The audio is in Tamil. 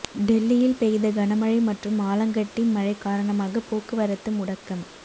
டெல்லியில் பெய்த கனமழை மற்றும் ஆலங்கட்டி மழை காரணமாக போக்குவரத்து முடக்கம்